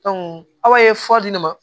aw ye fura di ne ma